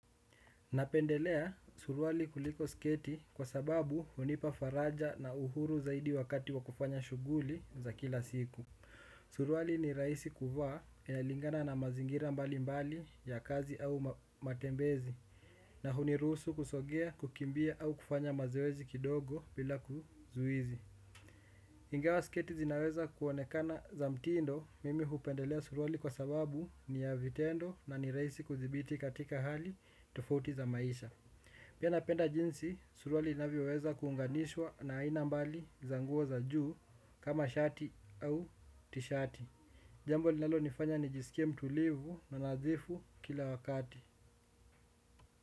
Napendelea suruali kuliko sketi kwa sababu hunipa faraja na uhuru zaidi wakati wa kufanya shughuli za kila siku. Suruali ni rahisi kufaa inalingana na mazingira mbali mbali ya kazi au matembezi na hunirusu kusogea kukimbia au kufanya mazoezi kidogo bila kizuizi. Ingawa sketi zinaweza kuonekana za mtindo mimi hupendelea suruali kwa sababu ni ya vitendo na ni rahisi kudhibiti katika hali tofuti za maisha. Pia napenda jeansi, suruali inavyoweza kuunganishwa na aina mbali za nguo za juu kama shati au tishati. Jambo linalo nifanya nijisikie mtulivu na nadhifu kila wakati.